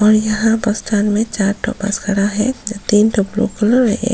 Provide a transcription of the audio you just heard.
और यहाँ bus stand में चार ठो बस खड़ा है जहाँ तीन ठो ब्लू कलर और एक --